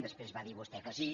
després va dir vostè que sí